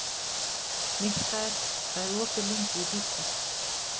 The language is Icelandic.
Mikkael, hvað er opið lengi í Byko?